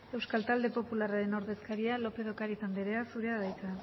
euskal talde popularraren ordezkaria lópez de ocariz anderea zurea da hitza